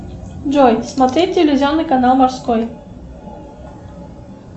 джой смотреть телевизионный канал морской